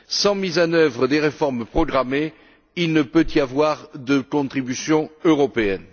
Sans mise en œuvre des réformes programmées, il ne peut y avoir de contribution européenne.